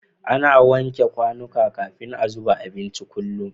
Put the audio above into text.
Ana wanke kwanika kafin a zuba abinci kullum